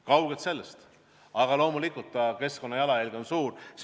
Kaugel sellest, aga loomulikult on selle keskkonnajalajälg suur.